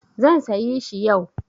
Zan sayi shi yau.